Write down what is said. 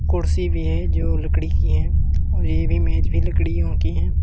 कुर्सी भी हैं जो लकड़ी की हैं और ये भी मेज भी लड़कियों की हैं।